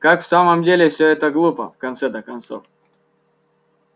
как в самом деле все это глупо в конце-то концов